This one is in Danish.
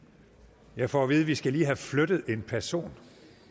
jeg får at vi lige skal have flyttet en person